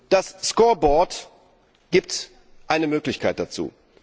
Das scoreboard gibt eine Möglichkeit dazu.